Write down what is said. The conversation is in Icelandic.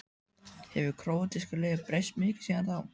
Hefur króatíska liðið breyst mikið síðan þá?